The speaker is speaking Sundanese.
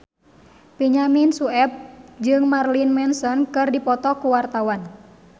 Benyamin Sueb jeung Marilyn Manson keur dipoto ku wartawan